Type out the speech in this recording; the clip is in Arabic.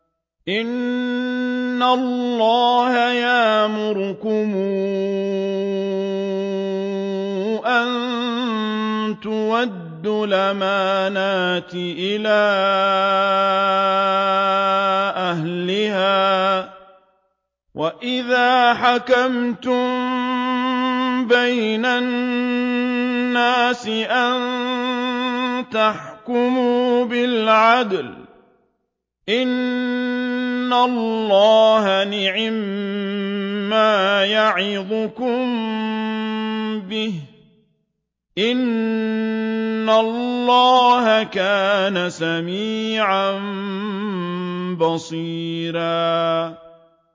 ۞ إِنَّ اللَّهَ يَأْمُرُكُمْ أَن تُؤَدُّوا الْأَمَانَاتِ إِلَىٰ أَهْلِهَا وَإِذَا حَكَمْتُم بَيْنَ النَّاسِ أَن تَحْكُمُوا بِالْعَدْلِ ۚ إِنَّ اللَّهَ نِعِمَّا يَعِظُكُم بِهِ ۗ إِنَّ اللَّهَ كَانَ سَمِيعًا بَصِيرًا